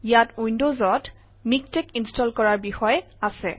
ইয়াত উইণ্ডজত MiKTeX install কৰাৰ বিষয়ে আছে